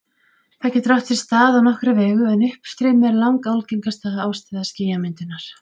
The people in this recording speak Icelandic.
Það getur átt sér stað á nokkra vegu, en uppstreymi er langalgengasta ástæða skýjamyndunar.